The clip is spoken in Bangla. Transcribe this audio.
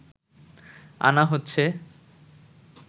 আনা হচ্ছে